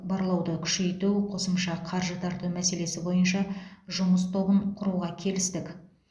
барлауды күшейту қосымша қаржы тарту мәселесі бойынша жұмыс тобын құруға келістік